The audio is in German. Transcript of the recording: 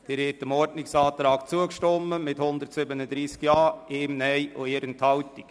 Sie haben dem Ordnungsantrag zugestimmt mit 137 Ja-Stimmen, 1 Nein-Stimme und 1 Enthaltung.